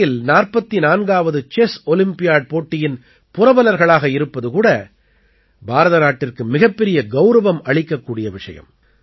சென்னையில் 44ஆவது chess olympiad போட்டியின் புரவலர்களாக இருப்பது கூட பாரத நாட்டிற்கு மிகப்பெரிய கௌரவம் அளிக்கக்கூடிய விஷயம்